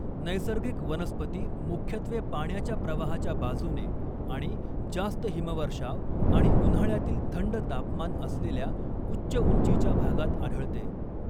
नैसर्गिक वनस्पती मुख्यत्वे पाण्याच्या प्रवाहाच्या बाजूने आणि जास्त हिमवर्षाव आणि उन्हाळ्यातील थंड तापमान असलेल्या उच्च उंचीच्या भागात आढळते.